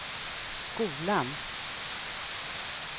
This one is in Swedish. skolan